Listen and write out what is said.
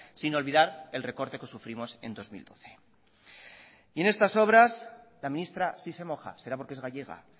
sin olvidar el recorte que sufrimos en dos mil doce en estas obras la ministra sí se moja será porque es gallega